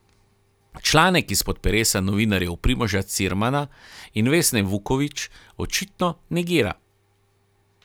Članek izpod peresa novinarjev Primoža Cirmana in Vesne Vukovič očitno negira.